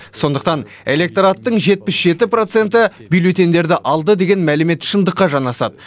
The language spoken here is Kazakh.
сондықтан электораттың жетпіс жеті проценті бюллетеньдерді алды деген мәлімет шындыққа жанасады